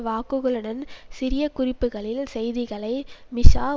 வாக்குகளுடன் சிறிய குறிப்புக்களில் செய்திகளை மிஷா